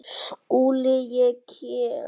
SKÚLI: Ég kem.